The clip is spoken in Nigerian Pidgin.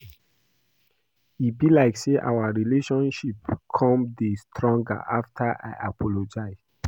E be like say our relationship come dey stronger after I apologize